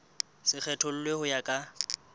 se kgethollwe ho ya ka